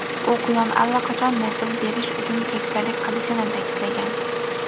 u quyon allaqachon nasl berish uchun keksalik qilishini ta’kidlagan.